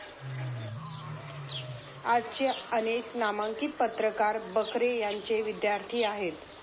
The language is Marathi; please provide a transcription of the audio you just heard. आजचे अनेक नामांकित पत्रकार बकरे यांचे विद्यार्थी आहेत.